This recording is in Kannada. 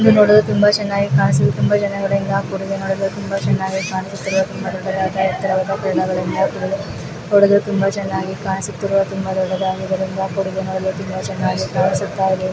ಇದು ನೋಡಲು ತುಂಬ ಚೆನ್ನಾಗಿ ಕಾನಿಸ್ತಾಇದೆ ತುಂಬ ಜನರಿಂದ ಕೂಡಿದೆ ತುಂಬ ಸುಂದರವಾಗಿ ಕಾಣಿಸುತಿರ್ವ ತುಂಬ ಎತ್ತರವಾದ ನೋಡಲು ತುಂಬ ಚೆನ್ನಾಗಿ ಕಾಣಿಸುತ್ತಿದೆ ತುಂಬ ದೊಡ್ಡದಾದಂತಹ ಕೂಡಿದೆ ತುಂಬ ಚೆನ್ನಾಗಿ ಡೇ--